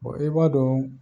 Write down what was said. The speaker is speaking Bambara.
i b'a dɔɔn